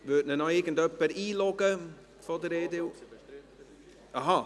Würde ihn noch irgendjemand von der EDU einloggen?